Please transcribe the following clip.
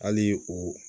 Hali o